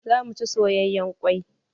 Zamu ci soyayen kwai.